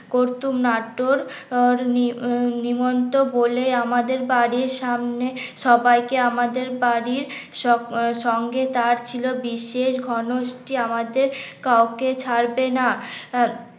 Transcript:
করতুম নাট্যর আহ নি আহ নিমন্ত্রণ বলে আমাদের বাড়ির সামনে সবাইকে আমাদের বাড়ির স সঙ্গে তার ছিল বিশেষ ঘনষ্টি আমাদের কাউকে ছাড়বে না আহ